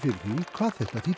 hvað þetta þýddi